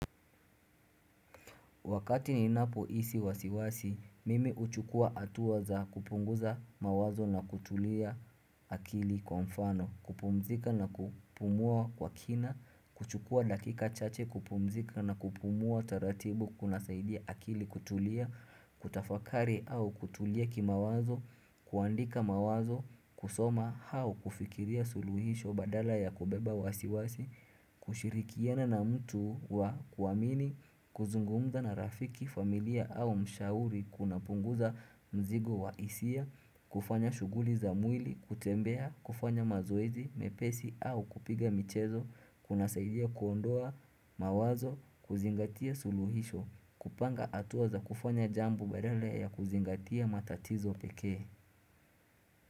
Wakati ni napo isi wasiwasi, mimi uchukua atua za kupunguza mawazo na kutulia akili kwa mfano, kupumzika na kupumua kwa kina, kuchukua dakika chache, kupumzika na kupumua taratibu kuna saidia akili kutulia, kutafakari au kutulia kima wazo, kuandika mawazo, kusoma hao kufikiria suluhisho badala ya kubeba wasiwasi, kushirikiana na mtu wa kuwamini, kuzungumza na rafiki, familia au mshauri, kuna punguza mzigo wa isia, kufanya shuguli za mwili, kutembea, kufanya mazoezi, mepesi au kupiga michezo, kuna saidia kuondoa, mawazo, kuzingatia suluhisho, kupanga atuaza kufanya jambo badala ya kuzingatia matatizo pekee.